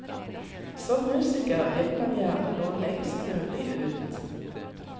Som musiker vil man gjerne nå lengst mulig ut.